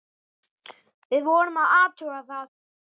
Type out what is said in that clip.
Við vorum að athuga það.